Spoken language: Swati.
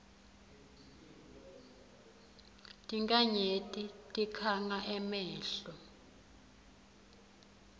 tinkhanyeti tikhanga emehlo